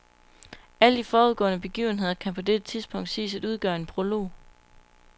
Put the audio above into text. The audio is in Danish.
Alle de forudgående begivenheder kan på dette tidspunkt siges at udgøre en prolog.